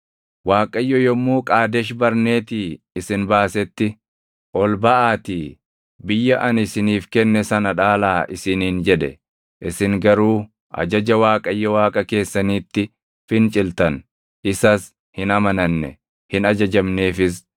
Waaqayyo yommuu Qaadesh Barneetii isin baasetti, “Ol baʼaatii biyya ani isiniif kenne sana dhaalaa” isiniin jedhe. Isin garuu ajaja Waaqayyo Waaqa keessaniitti finciltan. Isas hin amananne; hin ajajamneefis.